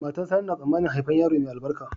Matar sani na tsamanin haifar yaro mai albarka